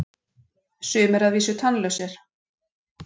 sumir að vísu tannlausir!